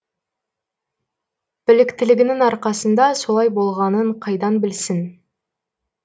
біліктілігінің арқасында солай болғанын қайдан білсін